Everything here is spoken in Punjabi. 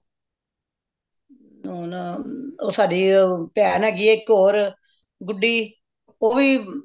ਹੁਣ ਉਹ ਸਾਡੀ ਭੈਣ ਹੈਗੀਏ ਇੱਕ ਹੋਰ ਗੁੱਡੀ ਉਹ ਵੀ